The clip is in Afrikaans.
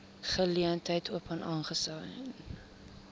geleentheid open aangesien